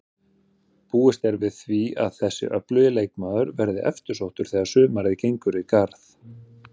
Búist er við því að þessi öflugi leikmaður verði eftirsóttur þegar sumarið gengur í garð.